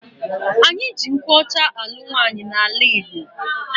Eji nkwụ ọcha anụ nwaanyi na ala igbo.